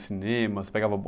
Cinema? Você pegava o bon